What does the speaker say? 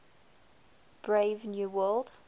brave new world